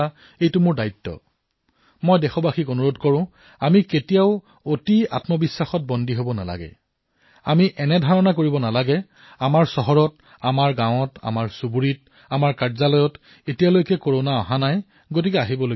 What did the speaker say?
মোৰ দেশবাসীৰ প্ৰতি মই আপোলোকক আহ্বান জনাইছোআমি কেতিয়াও যাতে এনে অতি আত্মবিশ্বাসৰ কবলত নপৰো যে আমাৰ চহৰত আমাৰ গাঁৱত আমাৰ চুবুৰীত এই পৰ্যন্ত কৰোনা অহা নাই সেয়া ইয়াত এই ৰোগ নহয়